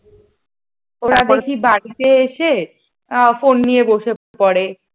ওরা দেখি বাড়িতে এসে ফোন নিয়ে বসে পড়ে ।